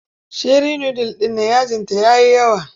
Sheri nudul ɗin nan yajinta ya yi yawa.